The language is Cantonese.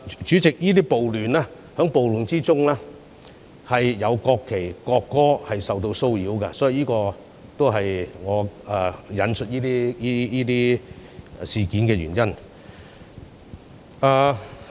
主席，在這些暴亂中，國旗受到污衊，國歌的演奏受到騷擾，這是我引述這些事件的原因。